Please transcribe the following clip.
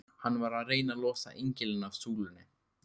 Hann var að reyna að losa engilinn af súlunni!